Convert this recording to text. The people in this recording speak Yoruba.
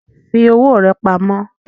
Fi owó rà pamó